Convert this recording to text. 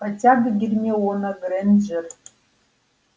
хотя бы гермиона грэйнджер